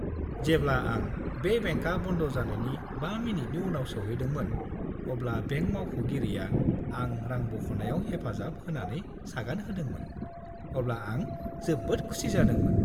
जेब्ला आं बे बेंकआ बन्द जानायनि 5 मिनिटनि उनाव सौहैदोंमोन, अब्ला बेंक मावख'गिरिआ आं रां बख'नायाव हेफाजाब होनानै सागान होदोंमोन, अब्ला आं जोबोद खुसि जादोंमोन।